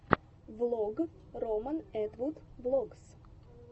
влог роман этвуд влогс